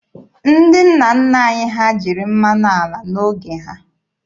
Ndị nna nna anyị ha jiri mmanụ ala n'oge ha.